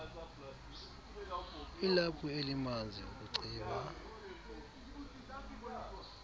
ilaphu elimanzi ukucima